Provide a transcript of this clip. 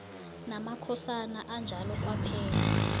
namakhosana anjalo kwaphela